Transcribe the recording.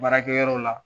Baarakɛ yɔrɔw la